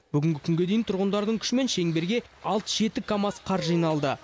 бүгінгі күнге дейін тұрғындардың күшімен шеңберге алты жеті камаз қар жиналды